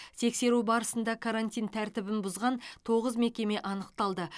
тексеру барысында карантин тәртібін бұзған тоғыз мекеме анықталды